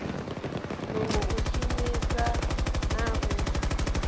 nungo u shumesa na u